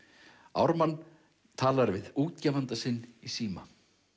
Ármann talar við útgefanda sinn í síma